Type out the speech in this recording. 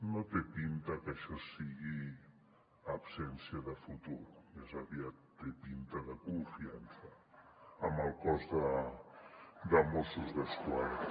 no té pinta que això sigui absència de futur més aviat té pinta de confiança en el cos de mossos d’esquadra